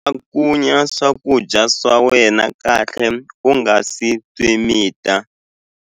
Cakunya swakudya swa wena kahle u nga si swi mita.